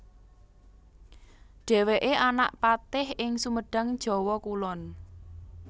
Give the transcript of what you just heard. Dhèwèké anak patih ing Sumedang Jawa Kulon